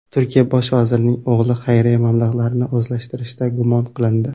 Turkiya bosh vazirining o‘g‘li xayriya mablag‘larini o‘zlashtirishda gumon qilindi.